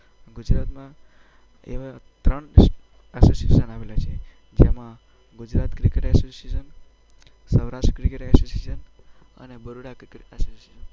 ગુજરાતમાં એવા ત્રણ એસોસિએશન આવેલા છે. જેમાં Gujarat cricket association, Saurashtra cricket association અને બરોડા ક્રિકેટ એસોસિએશન.